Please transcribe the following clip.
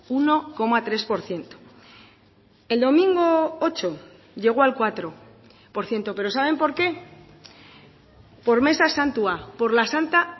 uno coma tres por ciento el domingo ocho llegó al cuatro por ciento pero saben por qué por meza santua por la santa